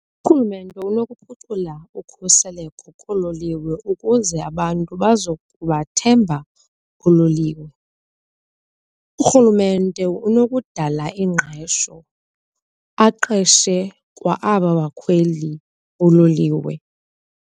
Urhulumente unokuphucula ukhuseleko koololiwe ukuze abantu bazokubathemba oololiwe. Urhulumente unokudala ingqesho aqeshe kwa aba bakhweli boololiwe.